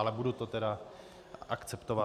Ale budu to tedy akceptovat.